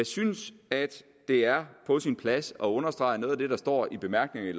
synes det er på sin plads at understrege noget af det der står i bemærkningerne